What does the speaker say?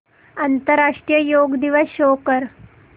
आंतरराष्ट्रीय योग दिवस शो कर